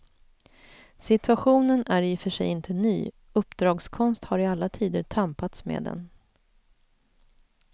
Situationen är i och för sig inte ny, uppdragskonst har i alla tider tampats med den.